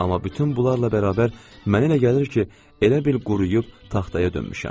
Amma bütün bunlarla bərabər mənə elə gəlir ki, elə bil quruyub taxtaya dönmüşəm.